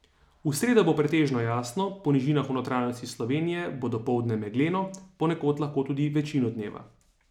V sredo bo pretežno jasno, po nižinah v notranjosti Slovenije bo dopoldne megleno, ponekod lahko tudi večino dneva.